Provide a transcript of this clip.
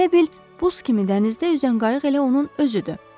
elə bil buz kimi dənizdə üzən qayıq elə onun özüdür.